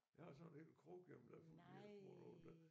Jeg har sådan en hel krukke hjemme der er fuld af de her små nogle der